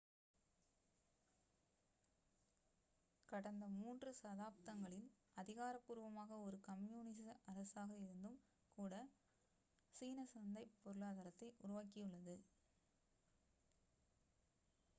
கடந்த மூன்று தசாப்தங்களில் அதிகாரப்பூர்வமாக ஒரு கம்யூனிச அரசாக இருந்தும் கூட சீனா சந்தைப் பொருளாதாரத்தை உருவாக்கியுள்ளது